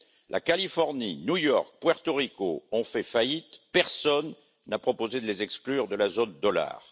La Californie, New York, Porto Rico ont fait faillite, et personne n'a proposé de les exclure de la zone dollar.